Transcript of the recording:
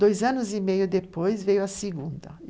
Dois anos e meio depois veio a segunda.